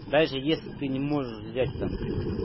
даже если ты не можешь взять там